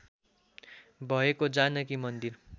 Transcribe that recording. भएको जानकी मन्दिर